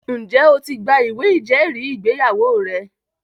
Ǹjẹ́ o ti gba ìwé ìjẹ́rìísí ìgbéyàwó rẹ?